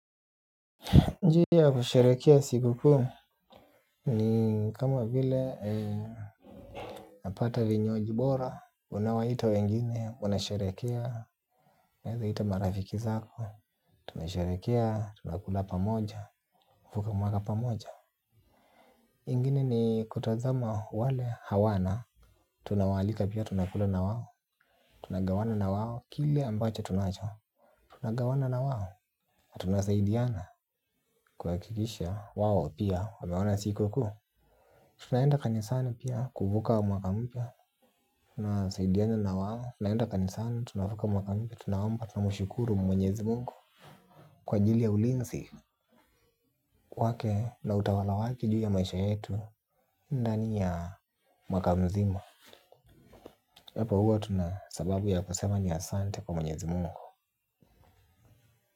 Njia kusharekea siku ku ni kama vile napata vinyuaji bora unawa ita wengine wanasharekea uneza ita marafiki zako tunasharekea tunakula pamoja. Fuka mwaka pa moja. Ingine ni kutazama wale hawana. Tunawalika pia tunakula na wawo. Tunagawana na wawo kile ambacho tunacho. Tunagawana na wao na tunasaidiana kuhakikisha wao pia wameona siku kuu. Tunaenda kanisani pia kuvuka mwaka mpya. Tunasaidiana na wao. Tunaenda kanisani tunavuka mwaka mpya. Tunaomba tunamushukuru mwenyezi mungu kwa ajili ya ulinsi wake na utawala wake juu ya maisha yetu. Ndani ya mwaka mzima hapo huwa tuna sababu ya kusema ni asante kwa mwenyezi mungu.